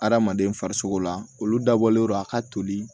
Adamaden farisogo la olu dabɔlen don a ka toli